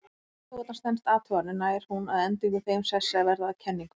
Ef tilgátan stenst athuganir nær hún að endingu þeim sessi að verða að kenningu.